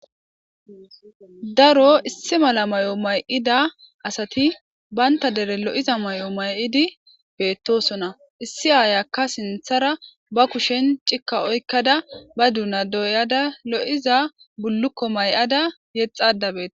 Daro issi mala may7o may7ida asathi banththa dere lo7iza may7idi beeththoosona; issi ayeeka sinththa baggara be kushen cikka oykkada ba doonaa dootaza lo7iza bullukko may7aza yexxaadda beeththawus.